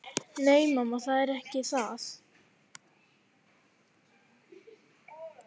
Nei, mamma, það er ekki það.